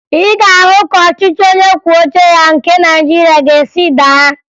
Ị ga-ahụ ka ọchịchị onyekwuoucheya nke Nigeria ga-esi daa